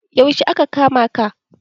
Yaushe aka kama ka?